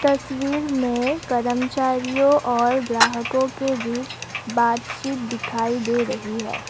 तस्वीर में कर्मचारियों और ग्राहकों के बीच बातचीत दिखाई दे रही है।